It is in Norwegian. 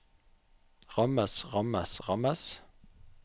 rammes rammes rammes